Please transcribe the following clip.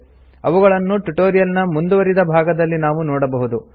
ಅವುಗಳನ್ನು ಟ್ಯುಟೋರಿಯಲ್ ನ ಮುಂದುವರಿದ ಭಾಗದಲ್ಲಿ ನಾವು ನೋಡಬಹುದು